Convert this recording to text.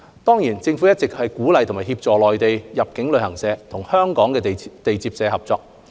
當然，政府一直鼓勵和協助內地入境旅行社和香港地接社合作。